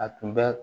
A tun bɛ